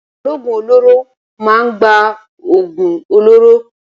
Ológùn olóró máa ń gba oògùn olóró